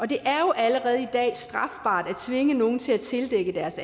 det er jo allerede i dag strafbart at tvinge nogen til at tildække deres